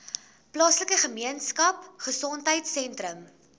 plaaslike gemeenskapgesondheid sentrum